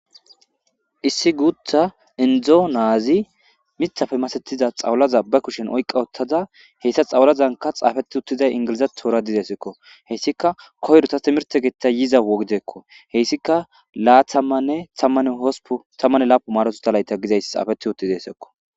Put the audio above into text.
issi guutha indzo naazi mithafe masetiza xawlaza ba kushen oyqa ottada heyssa xawlazanka xaafeti uttiday ingilizat toora didesekko heyssika koyrota timirte getta yiza wogideekko heyssika laathammanne tamman hospu tammanne laapu maaroto talayta gizayss xaafeti uttidesekko